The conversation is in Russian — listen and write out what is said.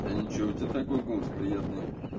да ничего у тебя такой голос приятный